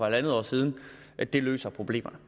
en halv år siden det løser problemerne